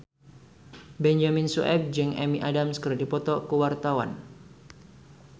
Benyamin Sueb jeung Amy Adams keur dipoto ku wartawan